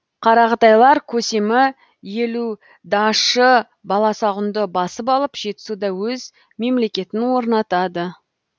қарақытайлар көсемі елу дашы баласағұнды басып алып жетісуда өз мемлекетін орнатады